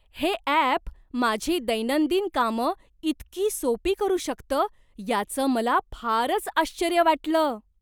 हे अॅप माझी दैनंदिन कामं इतकी सोपी करू शकतं याचं मला फारच आश्चर्य वाटलं.